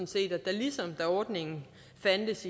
set at der ligesom da ordningen fandtes